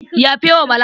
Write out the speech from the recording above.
Yafe wa Bala.